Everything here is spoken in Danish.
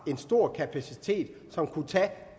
en stor kapacitet som kunne tage